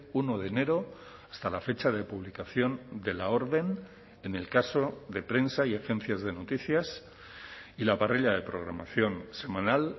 uno de enero hasta la fecha de publicación de la orden en el caso de prensa y agencias de noticias y la parrilla de programación semanal